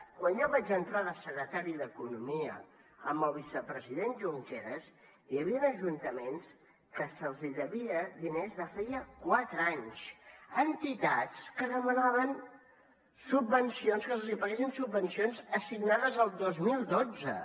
quan jo vaig entrar de secretari d’economia amb el vicepresident junqueras hi havien ajuntaments que se’ls devia diners de feia quatre anys entitats que demanaven subvencions que els paguessin subvencions assignades el dos mil dotze